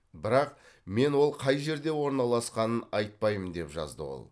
бірақ мен ол қай жерде орналасқанын айтпаймын деп жазды ол